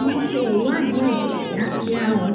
mo ṣe ìwádìí ẹ̀jẹ̀ kíákia ó